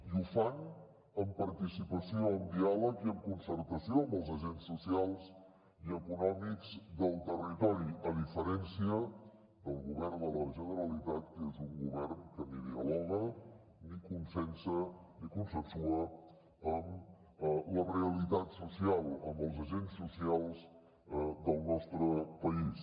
i ho fan amb participació amb diàleg i amb concertació amb els agents socials i econòmics del territori a diferència del govern de la generalitat que és un govern que ni dialoga ni consensua amb la realitat social amb els agents socials del nostre país